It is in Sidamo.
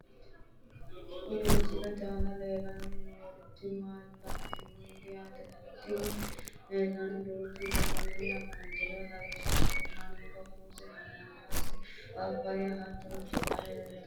Kuni misilete aana leellanni noorichi laalote yaate, tini laalono duuchu daniti afantanno lawishshaho: mango, muuze , hanaanaase, paappaayye hattono burtukaane leeltanno.